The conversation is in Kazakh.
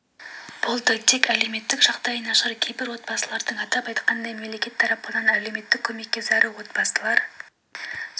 болды тек әлеуметтік жағдайы нашар кейбір отбасылардың атап айтқанда мемлекет тарапынан әлеуметтік көмекке зәру отбасылар